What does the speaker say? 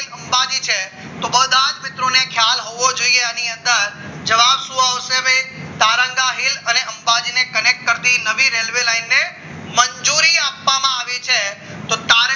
કે અંબાજી છે તો બધા જ મિત્રોને ખ્યાલ હોય હોવો જોઈએ આની અંદર જવાબ શું આવશે તારંગા હિલ અને અંબાજી ને connect કરતી નવી રેલવે લાઈનને મંજૂરી આપવામાં આવી છે તો તારંગા